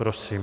Prosím.